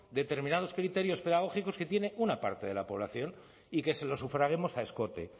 determinados criterios pedagógicos que tiene una parte de la población y que se lo sufraguemos a escote